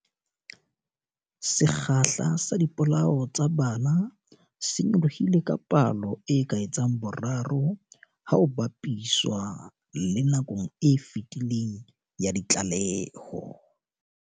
Sekgahla sa dipolao tsa bana se nyolohile ka palo e ka etsang boraro ha ho ba piswa le nakong e fetileng ya ditlaleho.